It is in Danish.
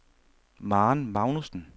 Maren Magnussen